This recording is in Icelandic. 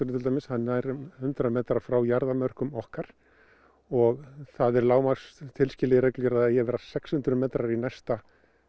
til dæmis nær um hundrað metra frá okkar og það er lágmarks tilskilið í reglugerð að það eigi að vera sex hundruð metrar í næsta